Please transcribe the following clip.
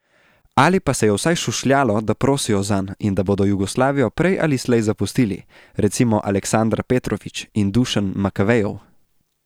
Ali pa se je vsaj šušljalo, da prosijo zanj in da bodo Jugoslavijo prej ali slej zapustili, recimo Aleksandar Petrović in Dušan Makavejev.